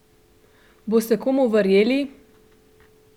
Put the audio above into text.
Boste komu verjeli?